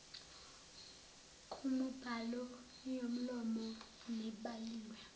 kumibhalo yomlomo nebhaliwe